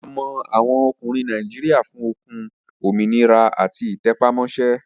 A mọ àwọn ọkùnrin Nàìjíríà fún okun, òmìnira àti ìtẹpámọ́ṣẹ́